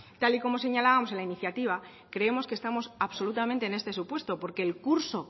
tal y como señalábamos en la iniciativa creemos que estamos absolutamente en este supuesto porque el curso